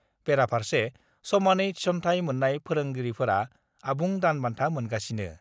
बेराफार्से समानै थिसन्थाय मोन्नाय फोरोगिरिफोरा आबुं दान बान्था मोनगासिनो।